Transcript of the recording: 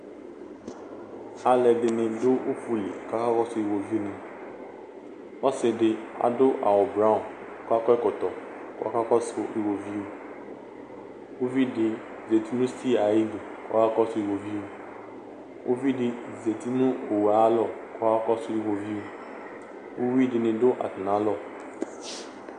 Aaluɛɖini ɖʋ ufuli k'aka kɔsu iɣoviu ni ɔsiɖi aɖʋ awu brounw k'akɔ ɛkɔtɔ k'akakɔsu iɣoviuƲviɖi zeti nʋ stiya aiɖʋ k'ɔkakɔsu iɣoviu Ʋviɖi zeti nʋ owu ayalɔk'ɔkakɔsu iɣoviu uwuiɖini ɖʋ aatamialɔ